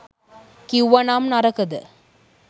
කිව්වනම් නරකද?